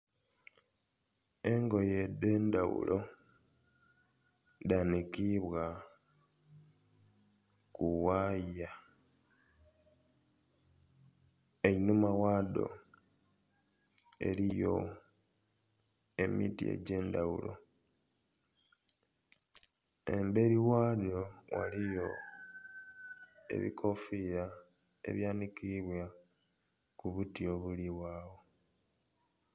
Engoye edhendhaghulo dhanikibwa kuwaaya einhuma ghado eriyo emiti egyendhaghulo emberi ghabyo ghaliyo ebikofira ebyanikibwa kubuti obuligho agho